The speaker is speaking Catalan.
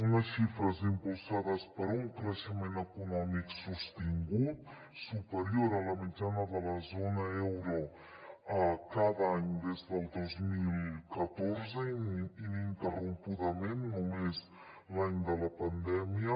unes xifres impulsades per un creixement econòmic sostingut superior a la mitjana de la zona euro cada any des del dos mil catorze ininterrompudament només l’any de la pandèmia